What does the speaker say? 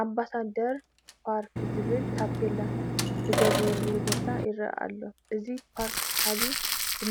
ኣምባሳደር ፓርክ ዝብል ታፔላ ዝተገበረሉ ቦታ ይርአ ኣሎ፡፡ እዚ ፓርክ ሰሓቢ